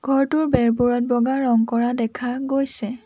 ঘৰটোৰ বেৰবোৰত বগা ৰং কৰা দেখা গৈছে।